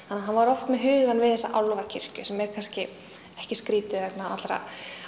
að hann var oft með hugann við þessa álfakirkju sem er kannski ekki skrítið vegna allra